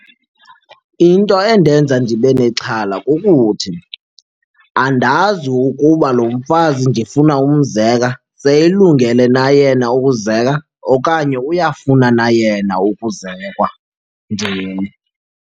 Into endenza ndibe nexhala kukuthi andazi ukuba lo mfazi ndifuna umzeka seyilungele na yena ukuzeka okanye uyafuna na yena ukuzekwa ndim.